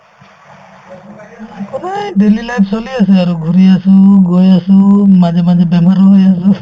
সদায় daily life চলি আছে আৰু ঘূৰি আছো গৈ আছো মাজে মাজে বেমাৰ হৈ আছো